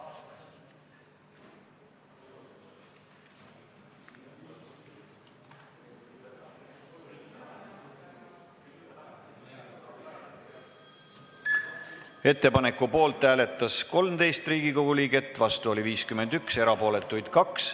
Hääletustulemused Ettepaneku poolt hääletas 13 Riigikogu liiget, vastu oli 51, erapooletuid oli 2.